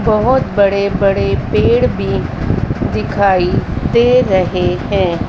बहोत बड़े बड़े पेड़ भी दिखाई दे रहे हैं।